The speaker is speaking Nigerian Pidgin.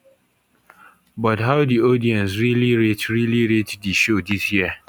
but how di audience really rate really rate di show dis year